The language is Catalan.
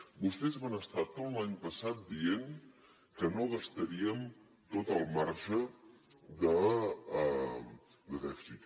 vostès van estar tot l’any passat dient que no gastaríem tot el marge de dèficit